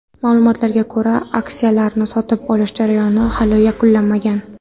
Ma’lumotlarga ko‘ra, aksiyalarni sotib olish jarayoni hali yakunlanmagan.